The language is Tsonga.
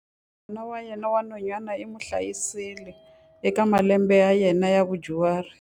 N'wana wa yena wa nhwanyana u n'wi hlayisile eka malembe ya yena ya vudyuhari.